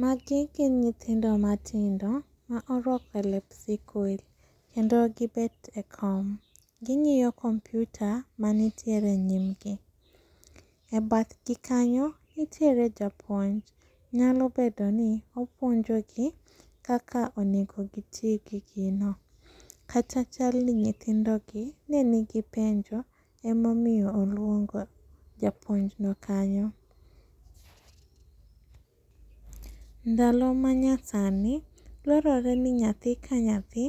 Magi gin nyithindo matindo maoruako lep sikul, kendo gibet e kom. Ging'iyo kompyuta manitiere e nyimgi. E badhgi kanyo nitiere japuonj, nyalo bedoni opuonjogi kaka onego giti gi gino, kata chalni nyithindogi nenigi penjo emomiyo oluongo japuonjno kanyo. Ndalo manyasani dwarore ni nyathi ka nyathi